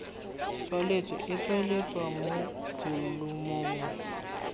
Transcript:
tswaletswe e tsweletswa mo bolumong